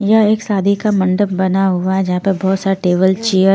यह एक शादि का मंडप बना हुआ है जहाँ पर बहोत सारे टेबल चेयर --